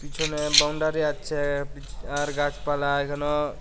পিছনে বাউন্ডারি আছে আর গাছপালা এখানেও--